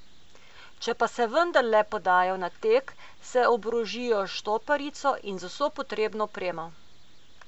Če pa se vendarle podajo na tek, se oborožijo s štoparico in z vso potrebno opremo.